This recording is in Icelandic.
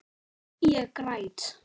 Ég græt.